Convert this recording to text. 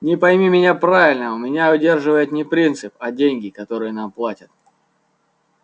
но пойми меня правильно меня удерживает не принцип а деньги которые нам платят